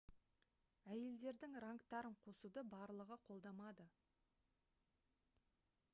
әйелдердің рангтарын қосуды барлығы қолдамады